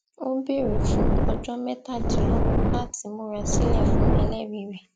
ó béèrè fún ọjọ mẹtàdínlógún láti múra sílẹ fún ẹlẹrìí rẹ